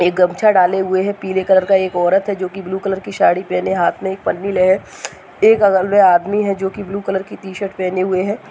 एक गमछा डाले हुए है पीले कलर का एक औरत है जो की ब्लू कलर की साड़ी पहने हाथ में एक पन्नी है एक बगल मै आदमी है जो की ब्लू कलर की टी शर्ट पहने हुए है।